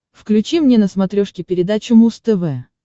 включи мне на смотрешке передачу муз тв